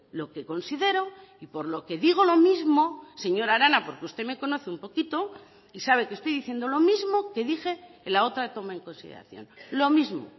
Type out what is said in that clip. lo que considero y por lo que digo lo mismo señora arana porque usted me conoce un poquito y sabe que estoy diciendo lo mismo que dije en la otra toma en consideración lo mismo